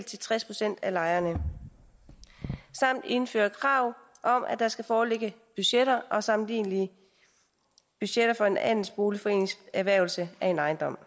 til tres procent af lejerne samt indføre krav om at der skal foreligge budgetter og sammenlignelige budgetter før en andelsboligforenings erhvervelse af en ejendom